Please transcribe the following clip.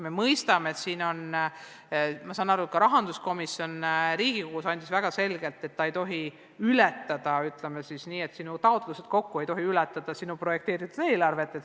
Ma saan aru, et ka Riigikogu rahanduskomisjon on andnud väga selgelt mõista, et sinu taotlused kokku ei tohi ületada sinu projekteeritud eelarvet.